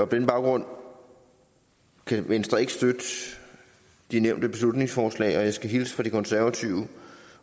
den baggrund kan venstre ikke støtte de nævnte beslutningsforslag og jeg skal hilse fra de konservative